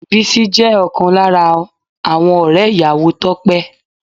Bísí jẹ́ ọ̀kan lára àwọn ọ̀rẹ́ ìyàwó Tope